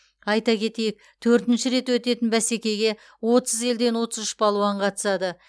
айта кетейік төртінші рет өтетін бәсекеге отыз елден отыз үш балуан қатысады